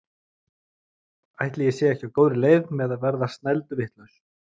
Ætli ég sé ekki á góðri leið með að verða snælduvitlaus!